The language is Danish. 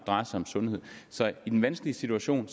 drejer sig om sundhed så i den vanskelige situation